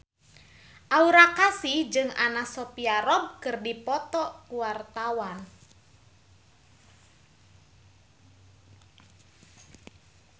Aura Kasih jeung Anna Sophia Robb keur dipoto ku wartawan